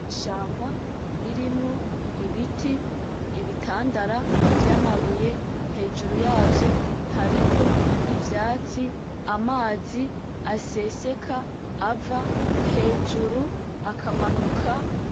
Ishamba ririmwo ibiti, ibitandara vy’amabuye hejuru yavyo hariko ivyatsi amazi aseseka ava hejuru akamanuka.